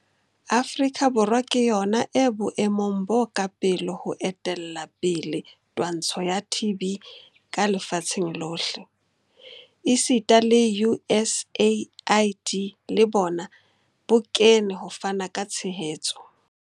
Afrika Borwa ke yona e boemong bo ka pele ho etella pele twantsho ya TB ka lefatsheng lohle, esita le USAID le bona bo kene ho fana ka tshehetso.